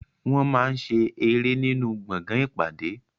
Wọ́n máa ń ṣe eré nínú gbọ̀ngàn ìpàdé.